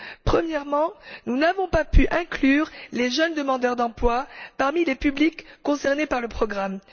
Premièrement, nous n'avons pas pu inclure les jeunes demandeurs d'emploi parmi les publics concernés par le programme.